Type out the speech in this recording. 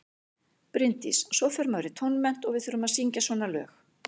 Bryndís: Og svo fer maður í tónmennt og við þurfum að syngja svona lög.